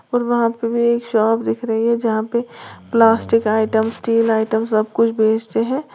और वहां पर भी एक शॉप दिख रही है जहां पे प्लास्टिक आइटम स्टील आइटम सब कुछ बेचते हैं।